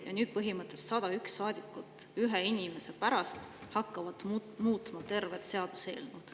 Nüüd hakkavad põhimõtteliselt 101 saadikut ühe inimese pärast muutma tervet seadust.